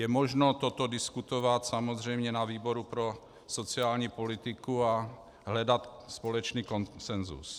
Je možno toto diskutovat samozřejmě na výboru pro sociální politiku a hledat společný konsenzus.